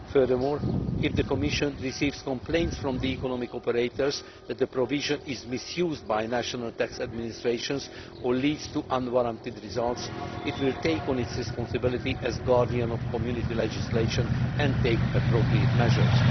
Furthermore, if the Commission receives complaints from the economic operators that the provision is being misused by national tax administrations or leads to unwarranted results, it will assume its responsibility as guardian of Community legislation and take appropriate measures.